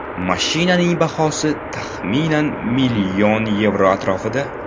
Mashinaning bahosi, taxminan, million yevro atrofida.